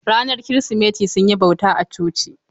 Ranar Kirsimeti sun yi bauta a coci.